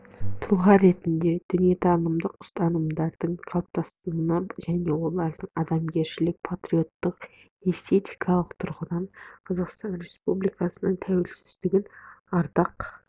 тұлға ретіндегі дүниетанымдық ұстанымдары қалыптасуына және олардың адамгершілік патриоттық эстетикалық тұрғыдан қазақстан республикасының тәуелсіздігін ардақ